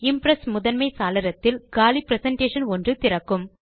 Impress முதன்மை சாளரத்தில் காலி பிரசன்டேஷன் ஒன்று திறக்கும்